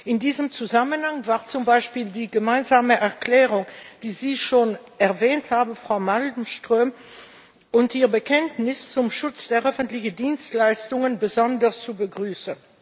In diesem Zusammenhang war zum Beispiel die gemeinsame Erklärung, die Sie schon erwähnt haben, Frau Malmström, und Ihr Bekenntnis zum Schutz der öffentlichen Dienstleistungen besonders zu begrüßen.